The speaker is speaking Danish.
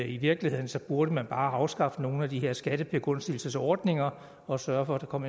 i virkeligheden burde man bare afskaffe nogle af de her skattebegunstigelsesordninger og sørge for at der kom